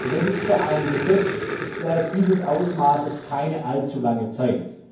Das ist für ein Gesetzeswerk dieses Ausmaßes keine allzu lange Zeit.